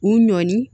U ɲɔni